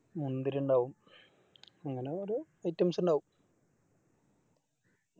മുന്തിരി ഇണ്ടാവും അങ്ങനെ ഓരോ Items ഇണ്ടാവും